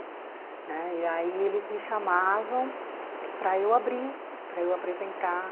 Né? E aí eles me chamavam para eu abrir, para eu apresentar.